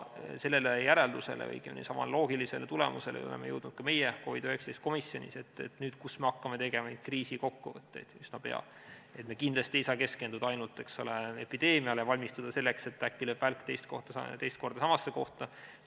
Sellele järeldusele, õigemini, samale loogilisele tulemusele oleme jõudnud ka meie COVID-19 komisjonis, et kui me hakkame üsna pea tegema kriisikokkuvõtteid, siis me kindlasti ei saa keskenduda ainult, eks ole, epideemiale ja valmistuda selleks, et äkki lööb välk teist korda samasse kohta.